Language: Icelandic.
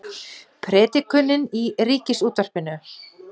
Predikunin í Ríkisútvarpinu